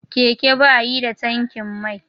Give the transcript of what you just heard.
Keke ba yi da tankin mai.